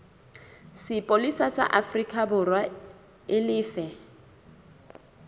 sepolesa sa aforikaborwa e lefe